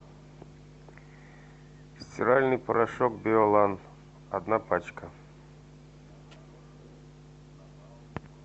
стиральный порошок биолан одна пачка